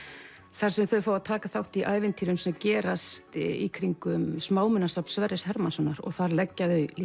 þar sem þau fá að taka þátt í ævintýrum sem gerast í kringum Sverris Hermannssonar þar leggja þau